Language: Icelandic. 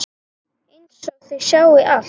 Einsog þau sjái allt.